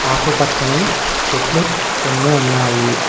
ఆకుపచ్చని చెట్లు కొన్ని ఉన్నాయి.